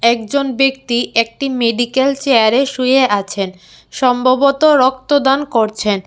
একজন ব্যক্তি একটি মেডিক্যাল চেয়ারে শুয়ে আছেন সম্ভবত রক্তদান করছেন।